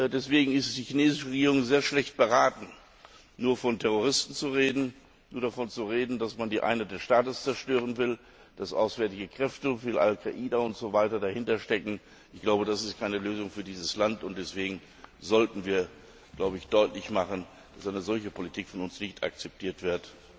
Deshalb ist die chinesische Regierung sehr schlecht beraten, nur von Terroristen zu reden, nur davon zu reden, dass man die Einheit des Staates zerstören will, dass auswärtige Kräfte wie Al Qaida und so weiter dahinter stecken. Ich glaube, das ist keine Lösung für dieses Land, und deswegen sollten wir deutlich machen, dass eine solche Politik von uns nicht akzeptiert wird.